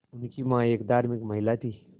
उनकी मां एक धार्मिक महिला थीं